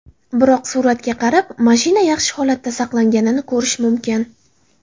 Biroq, suratga qarab, mashina yaxshi holatda saqlanganini ko‘rish mumkin.